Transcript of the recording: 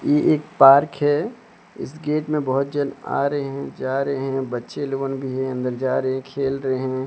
ये एक पार्क है इस गेट में बहोत जान आ रहे हैं जा रहे हैं बच्चे लोगन भी है अंदर जा रहे खेल रहे हैं।